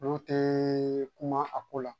Olu te kuma a ko la